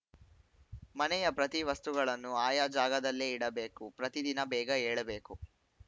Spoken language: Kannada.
ಮನೆಯ ಪ್ರತಿ ವಸ್ತುಗಳನ್ನು ಆಯಾ ಜಾಗದಲ್ಲೇ ಇಡಬೇಕು ಪ್ರತಿದಿನ ಬೇಗ ಏಳಬೇಕು